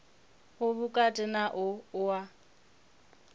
u vhukati na u oa